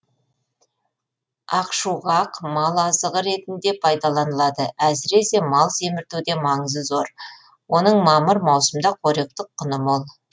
ақшуғақ мал азығы ретінде пайдаланылады әсіресе мал семіртуде маңызы зор оның мамыр маусымда қоректік құны мол